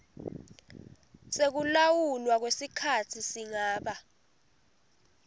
sekulawulwa kwesikhatsi singaba